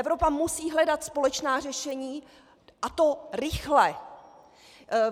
Evropa musí hledat společná řešení, a to rychle.